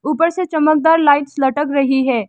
ऊपर से चमकदार लाइट्स लटक रही है।